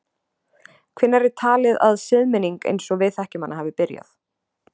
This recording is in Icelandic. Hvenær er talið að siðmenning eins og við þekkjum hana hafi byrjað?